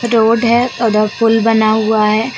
Road है पुल बना हुआ है।